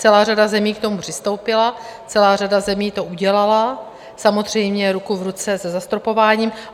Celá řada zemí k tomu přistoupila, celá řada zemí to udělala, samozřejmě ruku v ruce se zastropováním.